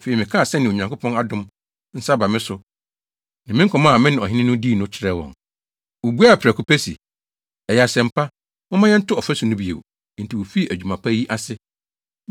Afei, mekaa sɛnea Onyankopɔn adom nsa aba me so no ne me nkɔmmɔ a me ne ɔhene dii no kyerɛɛ wɔn. Wobuaa prɛko pɛ se, “Ɛyɛ asɛm pa: Momma yɛnto ɔfasu no bio!” Enti wofii adwuma pa yi ase.